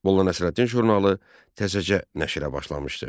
Molla Nəsrəddin jurnalı təzəcə nəşrə başlamışdı.